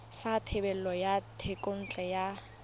sa thebolo ya thekontle ya